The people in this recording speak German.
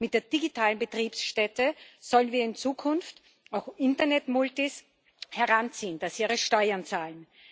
Mit der digitalen Betriebsstätte wollen wir in Zukunft auch Internetmultis dazu bringen, dass sie ihre Steuern zahlen.